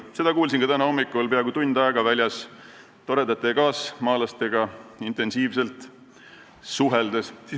Seda kuulsin ka täna hommikul peaaegu tund aega siin väljas toredate kaasmaalastega intensiivselt suheldes.